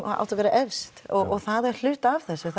átti að vera efst og það er hluti af þessu